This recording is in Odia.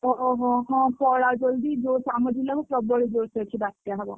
ଓହୋ ହଁ ପଳା ଜଲ୍‌ଦି ଜୋରସେ ଆମ ଜିଲ୍ଲାକୁ ପ୍ରବଳ ଜୋରସେ ଅଛି ବାତ୍ୟା ହବ।